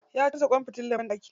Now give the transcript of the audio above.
Ya canza kwan fitilan banɗaki.